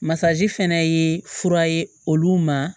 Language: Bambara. Masaji fana ye fura ye olu ma